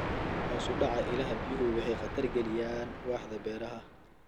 Hoos u dhaca ilaha biyuhu waxay khatar gelinayaan waaxda beeraha.